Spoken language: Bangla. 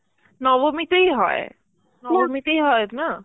নবমীতেই হয়, নবমীতেই হয় না?